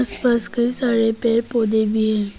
कइ सारे सारे पेड़ पौधे भी है।